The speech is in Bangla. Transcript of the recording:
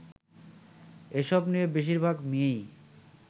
এসব নিয়ে বেশিরভাগ মেয়েই